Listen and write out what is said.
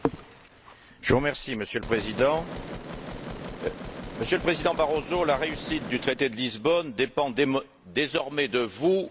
Monsieur le Président, Monsieur le Président Barroso, la réussite du traité de Lisbonne dépend désormais de vous et de votre équipe.